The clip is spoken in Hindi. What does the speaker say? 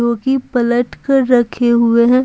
जो कि पलट कर रखे हुए हैं।